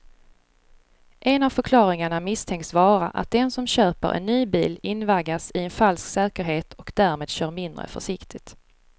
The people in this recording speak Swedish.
En av förklaringarna misstänks vara att den som köper en ny bil invaggas i en falsk säkerhet och därmed kör mindre försiktigt.